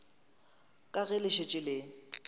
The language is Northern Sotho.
ka ge le šetše le